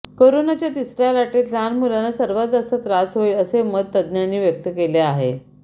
कोरोनाच्या तिसऱ्या लाटेत लहान मुलांना सर्वात जास्त त्रास होईल असे मत तंज्ज्ञांनी व्यक्त केले आहे